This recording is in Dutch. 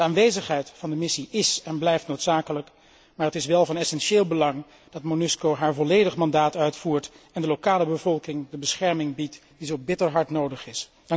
De aanwezigheid van de missie is en blijft noodzakelijk, maar het is wel van essentieel belang dat MONUSCO haar volledig mandaat uitvoert en de lokale bevolking de bescherming biedt die zo bitter hard nodig is.